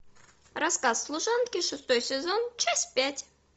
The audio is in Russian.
рассказ служанки шестой сезон часть пять